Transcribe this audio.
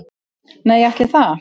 Nei, ætli það.